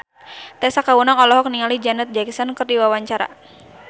Tessa Kaunang olohok ningali Janet Jackson keur diwawancara